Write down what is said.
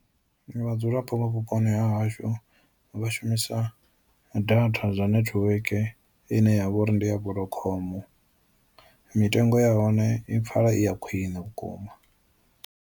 Vhadzulapo vha vhuponi ha hashu vha shumisa data zwa network ine yavha uri ndi ya vodacom mitengo ya hone i pfala i ya khwiṋe vhukuma.